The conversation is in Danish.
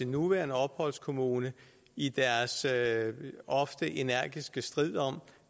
nuværende opholdskommune i den ofte energiske strid om